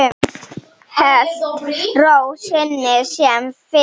Hélt ró sinni sem fyrr.